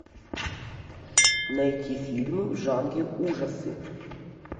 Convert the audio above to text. найти фильмы в жанре ужасы